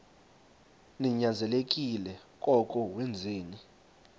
ninyanzelekile koko wenzeni